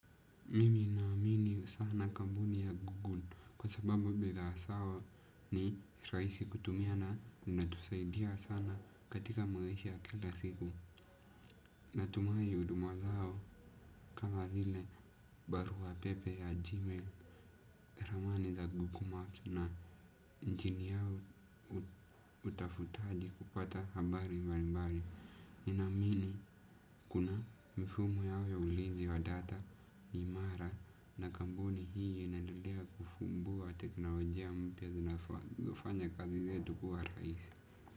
Mimi ninaamini sana kampuni ya Google kwa sababu bidhaa zao ni rahisi kutumia na inatusaidia sana katika maisha ya kila siku. Natumahi huduma zao kama vile barua pepe ya Gmail, ramani za Google Maps na injini yao utafutaji kupata habari mbalimbali. Ninaamini kuna mifumo yao ya ulinzi wa data, imara na kampuni hii inaendelea kufumbua teknolojia mpya zinafanya kazi zetu kuwa rahisi.